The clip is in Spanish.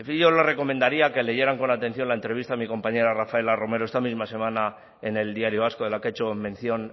yo les recomendaría que leyeran con atención la entrevista a mi compañera rafaela romero esta misma semana en el diario vasco de la que ha hecho mención